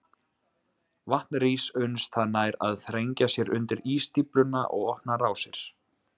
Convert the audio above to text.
Vatn rís uns það nær að þrengja sér undir ísstífluna og opna rásir.